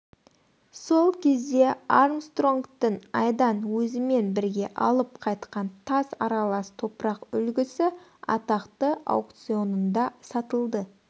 сол кезде армстронгтың айдан өзімен бірге алып қайтқан тас аралас топырақ үлгісі атақты аукционында сатылды